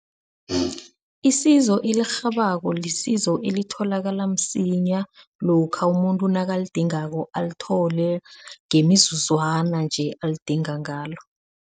Isizo elirhabako, lisizo elitholakala msinya lokha umuntu nakalidingako alithole ngemizuzwana nje alidinga ngalo.